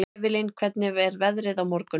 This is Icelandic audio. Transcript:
Evelyn, hvernig er veðrið á morgun?